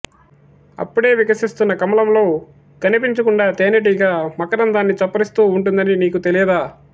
అప్పుడే వికసిస్తూన్న కమలంలో కనిపించకుండా తేనెటీగ మకరందాన్ని చప్పరిస్తూ వుంటుందని నీకు తెలియదా